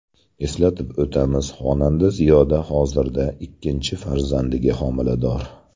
Eslatib o‘tamiz, xonanda Ziyoda hozirda ikkinchi farzandiga homilador .